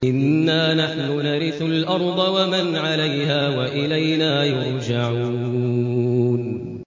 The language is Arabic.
إِنَّا نَحْنُ نَرِثُ الْأَرْضَ وَمَنْ عَلَيْهَا وَإِلَيْنَا يُرْجَعُونَ